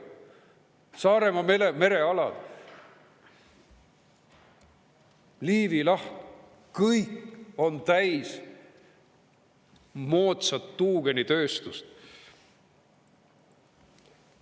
Saaremaa merealad, Liivi laht – kõik on täis moodsat tuugenitööstust.